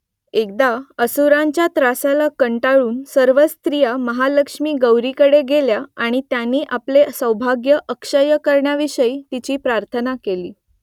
एकदा असुरांच्या त्रासाला कंटाळून सर्व स्त्रिया महालक्ष्मी गौरीकडे गेल्या आणि त्यांनी आपले सौभाग्य अक्षय्य करण्याविषयी तिची प्रार्थना केली